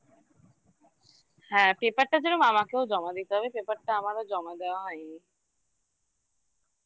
হ্যাঁ paper টা যেরম আমাকেও জমা দিতে হবে paper টা আমারও জমা দেওয়া হয়নি